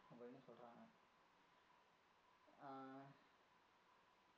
அப்படின்னு சொல்றாங்க அஹ்